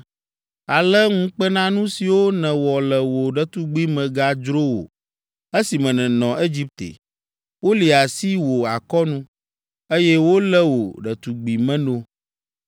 Ale ŋukpenanu siwo nèwɔ le wò ɖetugbime gadzro wò esime nènɔ Egipte, woli asi wò akɔnu, eye wolé wò ɖetugbimeno.